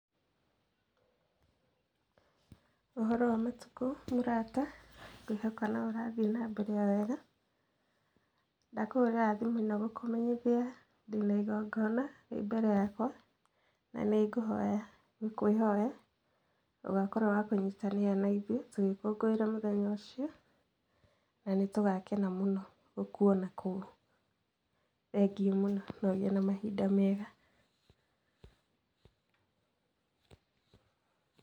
Ũhoro wa matukũ mũrata? Ngwĩhoka no ũrathiĩ na mbere o wega, ndakũhũrĩra thimũ na gũkũmenyithia ndĩ na igongona rĩ mbere yakwa, na nĩ ngũhoya gũkwĩhoya, ũgakorũo wa kũnyitanĩra na ithuĩ tũgĩkũngũĩra mũthenya ũcio, na nĩ tũgakena mũno gũkuona kũu. Thengio mũno na ũgĩe na mahinda mega.